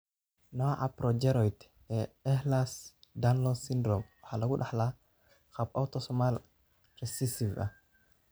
Nooca progeroid ee Ehlers Danlos syndrome waxaa lagu dhaxlaa qaab autosomal recessive ah.